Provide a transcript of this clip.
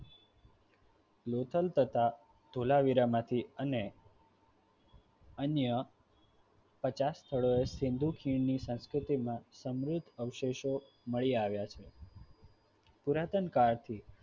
લોથલ તથા ધોળાવીરા માંથી અને અન્ય પચાસ સ્થળોએ સિંધુ ખીણની સંસ્કૃતિ માં સમૃદ્ધ અવશેષો મળી આવ્યા છે. પુરાતન કાળથી